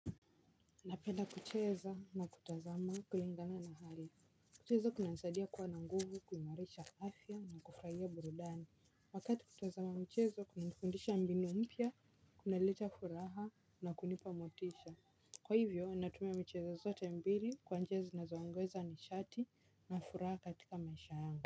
Napenda kucheza na kutazama kulingana na hali. Kucheza kunanisaidia kuwa na nguvu, kuimarisha afya na kufurahia burudani. Wakati kutazama mchezo kunanifundisha mbinu mpya, kunaleta furaha na kunipa motisha. Kwa hivyo, natumia michezo zote mbili kwa njia zinazo ongeza nishati na furaha katika maisha yangu.